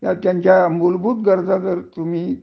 ह्या त्यांच्या मुलभूत गरजा तुम्ही